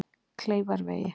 Kleifarvegi